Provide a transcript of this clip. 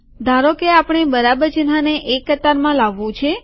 ધારોકે આપણે બરાબર ચિહ્નને એક કતારમાં લાવવું છે